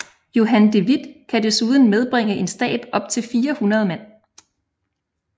Johan de Witt kan desuden medbringe en stab op til 400 mand